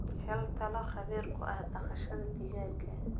Hel talo khabiir ku ah dhaqashada digaagga.